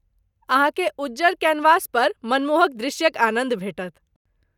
अहाँकेँ उज्जर कैनवसपर मनमोहक दृश्यक आनन्द भेटत।